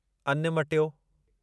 अन्न मटियो